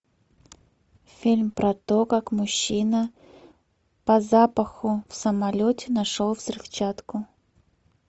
фильм про то как мужчина по запаху в самолете нашел взрывчатку